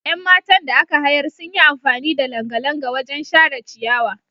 Yan matan da aka hayar sun yi amfani da langalanga wajen share ciyawa.